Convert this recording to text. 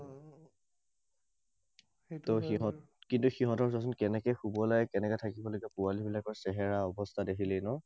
কিন্তু সিঁহতৰ চোৱাচোন, কেনেকৈ শুব লাগে, কেনেকৈ থাকিব লাগে, পোৱালিবিলাকৰ চেহেৰা অৱস্থা দেখিলেই ন?